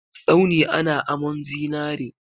Tsauni ana amun zinare.